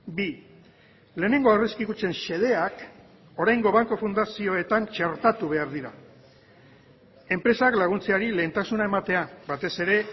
bi lehenengo aurrezki kutxen xedeak oraingo banku fundazioetan txertatu behar dira enpresak laguntzeari lehentasuna ematea batez ere